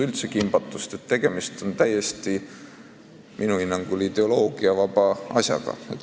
Minu hinnangul on tegemist täiesti ideoloogiavaba asjaga.